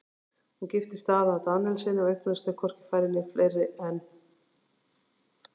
Hún giftist Daða Daníelssyni og eignuðust þau hvorki færri né fleiri en